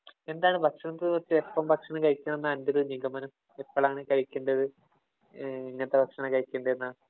എന്താണ് ഭക്ഷണത്തെ കുറിച്ച് ഇപ്പം ഭക്ഷണം കഴിക്കണം എന്നാ അന്‍റെ ഒരു നിഗമനം. എപ്പളാണ് കഴിക്കണ്ടത്. എങ്ങനത്തെ ഭക്ഷണം കഴിക്കണ്ടേന്നാ.